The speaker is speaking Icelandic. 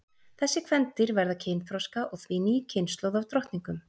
Þessi kvendýr verða kynþroska og því ný kynslóð af drottningum.